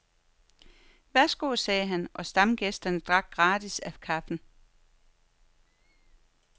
Værsgo, sagde han, og stamgæsterne drak gratis af kaffen.